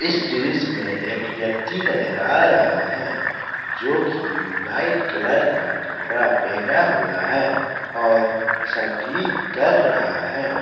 इस दृश्य में एक व्यक्ति नजर आ रहा है जो कि वाइट कलर का कपड़ा पहना हुआ और संगीत कर रहा है |